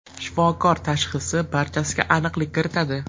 Shifokor tashxisi barchasiga aniqlik kiritadi.